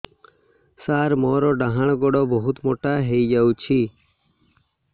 ସାର ମୋର ଡାହାଣ ଗୋଡୋ ବହୁତ ମୋଟା ହେଇଯାଇଛି